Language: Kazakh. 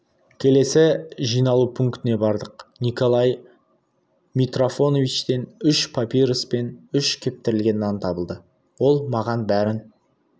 келесі жиналу пунктіне бардық николай митрофановичтен үш папирос пен үш кептірілген нан табылды ол маған бәрін